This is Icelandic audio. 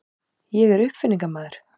Ég er uppfinningamaður.